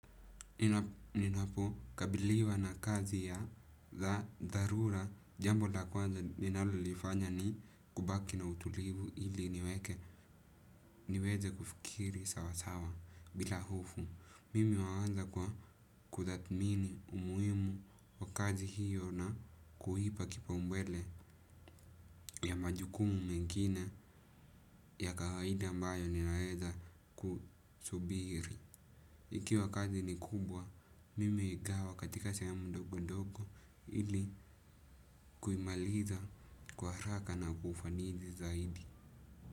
Ninapo kabiliwa na kazi ya dha dharura jambo la kwanza ninalolifanya ni kubaki na utulivu ili niweke niweze kufikiri sawa sawa bila hofu. Mimi huanza kwa kuthakmini umuhimu wa kazi hiyo na kuipa kipaumbele ya majukumu mengine ya kawaida ambayo ninaweza ku subiri. Ikiwa kazi ni kubwa, mimi huigawa katika sehemu ndogo ndogo ili kuimaliza kwa haraka na kwa ufanisi zaidi.